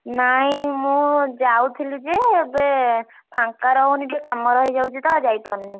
ନାଇଁ ମୁଁ ଯାଉଥିଲି ଯେ ଏବେ ଫାଙ୍କା ରହୁନି କାମ ରହିଯାଉଛିତ ଯାଇପାରୁନି।